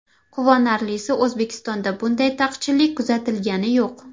Quvonarlisi, O‘zbekistonda bunday taqchillik kuzatilgani yo‘q.